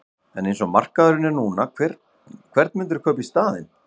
En eins og markaðurinn er núna, hvern myndirðu kaupa í staðinn?